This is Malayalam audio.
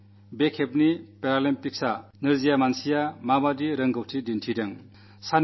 ഇപ്രാവശ്യത്തെ പാരാളിമ്പിക്സിൽ എത്രവലിയ പ്രകടനമാണ് കാഴ്ചവച്ചതെന്ന് വളരെ കുറച്ചാളുകൾക്കേ അറിയൂ